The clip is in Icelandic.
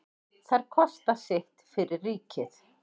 Þær kosta sitt fyrir ríkið.